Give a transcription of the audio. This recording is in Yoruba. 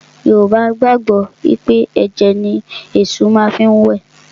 Yorùbá gbàgbọ́ wí pé ẹ̀jẹ̀ ni Èṣù má fi ń wẹ̀